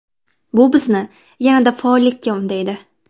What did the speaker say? Bu bizni yanada faollikka undaydi.